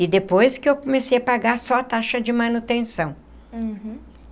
E depois que eu comecei a pagar só a taxa de manutenção. Uhum.